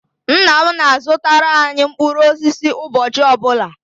Nna m na-azụtara anyị mkpụrụ osisi ụbọchị ọ bụla